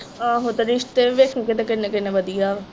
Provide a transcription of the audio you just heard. ਆਹੋ ਤੇ ਰਿਸ਼ਤੇ ਵੀ ਵੇਖੀ ਕਿਤੇ ਕਿਨ੍ਹੇ ਕਿਨ੍ਹੇ ਵਧੀਆ ਵਾ।